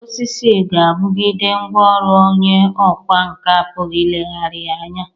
Osisi ga- abụgide ngwa ọrụ onye ọkwa nka apụghi ilegharịa anya.